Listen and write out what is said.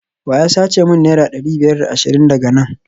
wa ya sace min naira dari biyar da ashirin daga nan?